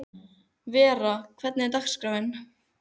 Vera, hvernig er dagskráin?